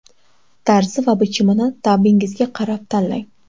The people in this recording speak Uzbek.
Tarzi va bichimini ta’bingizga qarab tanlang.